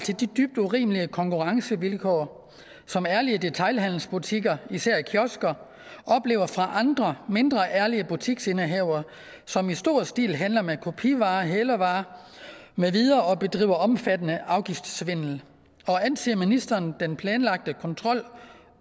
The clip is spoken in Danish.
til de dybt urimelige konkurrencevilkår som ærlige detailhandelsbutikker især kiosker oplever fra andre mindre ærlige butiksindehavere som i stor stil handler med kopivarer hælervarer med videre og bedriver omfattende afgiftssvindel og anser ministeren den planlagte kontrol